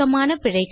dubbing செய்வது